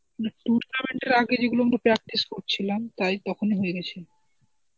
না tournament এর আগে যেগুলো আমরা practice করছিলাম তাই তখনই হয়ে গেছে.